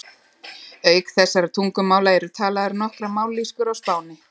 Auk þessara tungumála eru talaðar nokkrar mállýskur á Spáni.